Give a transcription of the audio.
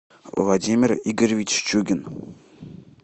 владимир игоревич чугин